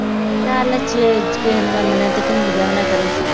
ਚੱਲ ਜੇ ਕਿਸੇ ਨੂੰ ਮੰਨਣਾ, ਇੱਕ ਨਿੰਦਿਆ ਨਾ ਕਰੋ